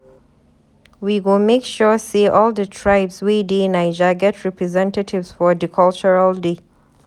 We go make sure sey all di tribes wey dey Naija get representatives for di cultural day.